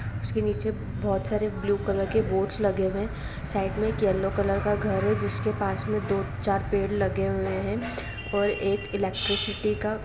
उसकी नीचे बहुत सारे ब्लू कलर की बॉट्स लगे हुए है साइड में एक येलो कलर का घर है जिसके पास में दो - चार पेड़ लगे है और एक इलेक्ट्रिसिटी का --